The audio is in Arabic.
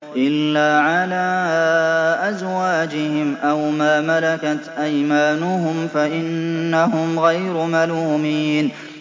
إِلَّا عَلَىٰ أَزْوَاجِهِمْ أَوْ مَا مَلَكَتْ أَيْمَانُهُمْ فَإِنَّهُمْ غَيْرُ مَلُومِينَ